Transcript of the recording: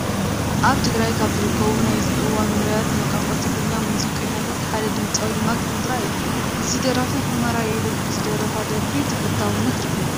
ኣብ ትግራይ ካብ ዝርከቡ ናይዚ እዋን ውሩያት ናይ ቋንቋ ትግርኛ ሙዚቀኛታት ሓደ ድምፃዊ ማክ እዝራ እዩ፡፡ እዚ ደራፊ ሑመራይ ኢሉ ብዝደረፋ ደርፊ ተፈታውነት ረኺቡ፡፡